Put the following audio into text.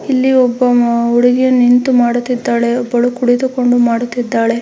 ಇಲ್ಲಿ ಒಬ್ಬ ಅ- ಹುಡುಗಿಯು ನಿಂತು ಮಾಡುತ್ತಿದ್ದಾಳೆ ಒಬ್ಬಳು ಕುಳಿತುಕೊಂಡು ಮಾಡುತ್ತಿದ್ದಾಳೆ.